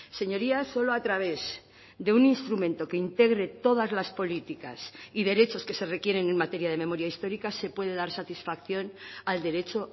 señorías solo a través de un instrumento que integre todas las políticas y derechos que se requieren en materia de memoria histórica se puede dar satisfacción al derecho